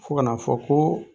Fo ka n'a fɔ ko